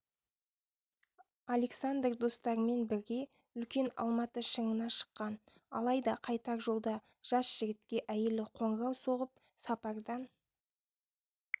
александр достарымен бірге үлкен алматы шыңына шыққан алайда қайтар жолда жас жігітке әйелі қоңырау соғып сапардан